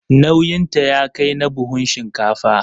Nauyinta ya kai na buhun shinkafa.